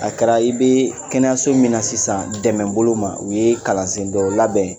A kɛra i bɛ kɛnɛso min na sisan dɛmɛbolo ma u ye kalan sen dɔ labɛn